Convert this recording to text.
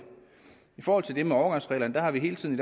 i forhold til det med overgangsreglerne har vi hele tiden